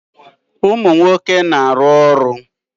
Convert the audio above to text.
Ụmụ nwoke na-arụ ụlọ.